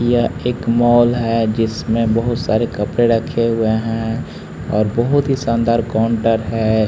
यह एक मॉल है जिसमें बहुत सारे कपड़े रखे हुए हैं और बहुत ही शानदार काउंटर है।